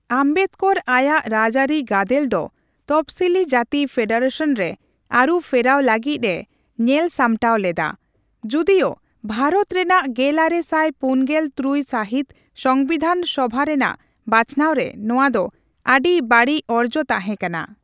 ᱟᱢᱵᱮᱫᱽᱠᱚᱨ ᱟᱭᱟᱜ ᱨᱟᱡᱽᱟᱹᱨᱤ ᱜᱟᱫᱮᱞ ᱫᱚ ᱛᱚᱯᱚᱥᱤᱞᱤ ᱡᱟᱹᱛᱤ ᱯᱷᱮᱰᱟᱨᱮᱥᱚᱱ ᱨᱮ ᱟᱹᱨᱩ ᱯᱷᱮᱨᱟᱣ ᱞᱟᱹᱜᱤᱫ ᱮ ᱧᱮᱞ ᱥᱟᱢᱴᱟᱣ ᱞᱮᱫᱟ, ᱡᱩᱫᱤᱭᱚ ᱵᱷᱟᱨᱚᱛ ᱨᱮᱱᱟᱜ ᱜᱮᱞᱟᱨᱮ ᱥᱟᱭ ᱯᱩᱱᱜᱮᱞ ᱛᱨᱩᱭ ᱥᱟᱦᱤᱛ ᱥᱚᱝᱵᱤᱫᱷᱟᱱ ᱥᱚᱵᱷᱟ ᱨᱮᱱᱟᱜ ᱵᱟᱪᱷᱱᱟᱣᱨᱮ ᱱᱚᱣᱟ ᱫᱚ ᱟᱹᱰᱤ ᱵᱟᱹᱲᱤᱡ ᱚᱨᱡᱚ ᱛᱟᱸᱦᱮ ᱠᱟᱱᱟ ᱾